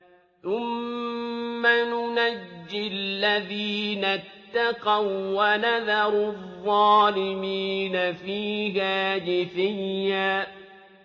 ثُمَّ نُنَجِّي الَّذِينَ اتَّقَوا وَّنَذَرُ الظَّالِمِينَ فِيهَا جِثِيًّا